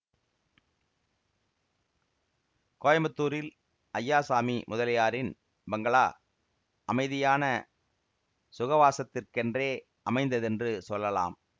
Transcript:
கோயம்புத்தூரில் அய்யாசாமி முதலியாரின் பங்களா அமைதியான சுகவாசத்துக்கென்றே அமைந்ததென்று சொல்லலாம்